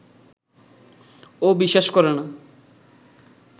ও বিশ্বাস করে না